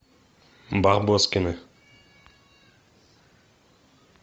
барбоскины